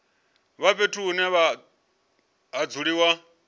vha fhethu hune ha dzuliwa